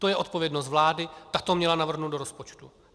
To je odpovědnost vlády, ta to měla navrhnout do rozpočtu.